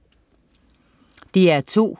DR2: